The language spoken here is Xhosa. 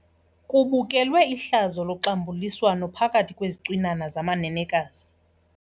Kubukelwe ihlazo loxambuliswano phakathi kwezicwinana zamanenekazi.